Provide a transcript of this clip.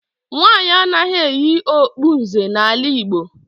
Nwaanyị anaghị eyi okpu nze n'ala Igbo.